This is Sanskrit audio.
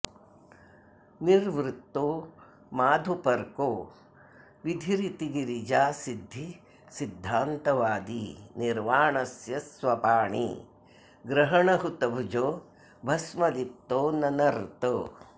निर्वृत्तो माधुपर्को विधिरिति गिरिजासिद्धिसिद्धान्तवादी निर्वाणस्य स्वपाणि ग्रहणहुतभुजो भस्मलिप्तो ननर्त